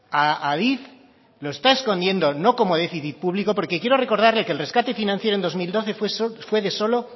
a adif lo está escondiendo no como déficit público porque quiero recordarle que el rescate financiero en dos mil doce fue de solo